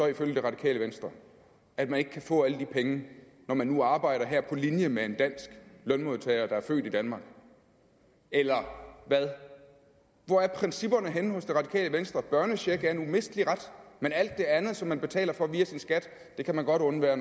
ifølge det radikale venstre at man ikke kan få alle de penge når man nu arbejder her på linje med en dansk lønmodtager der er født i danmark eller hvad hvor er principperne henne hos det radikale venstre børnechecken er en umistelig ret men alt det andet som man betaler for via sin skat kan man godt undvære